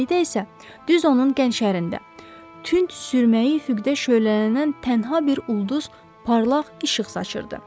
İrəlidə isə düz onun gənc şəhərində tünd sürməyi üfüqdə şölələnən tənha bir ulduz parlaq işıq saçırdı.